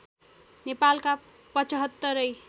नेपालका पचहत्तरै